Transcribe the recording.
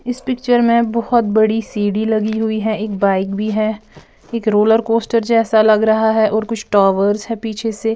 इस पिक्चर में बहोत बड़ी सीडी लगी हुई है एक बाइक भी है एक रोलर कोस्टर जेसा लग रहा है और कुछ टॉवर्स है पीछे--